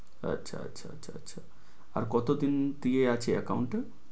আচ্ছা আচ্ছা আচ্ছা আর কতদিন দিয়ে আছে account এ